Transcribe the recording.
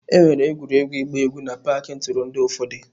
Enwere egwuregwu ịgba egwu n'paaki ntụrụndụ ụfọdụ.